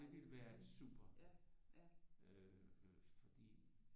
Det ville være super øh fordi